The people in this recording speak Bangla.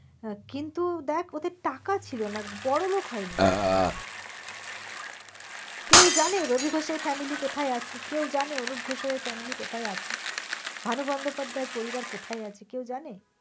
হ্যাঁ কিন্তু দেখ ওদের টাকা ছিল না বড় লোক হয়নি ওরা কোন দিন। কেউ জানে রবি ঘোষ এর family কোথায় আছে? কেউ জানে অনুপ ঘোষাল এর family কোথায় আছে? ভানু বন্দোপাধ্যায় পরিবার কোথায় আছে? কেউ জানে?